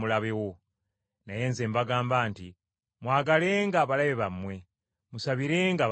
Naye nze mbagamba nti, Mwagalenga abalabe bammwe! Musabirenga ababayigganya!